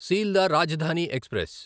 Sealdah Rajdhani express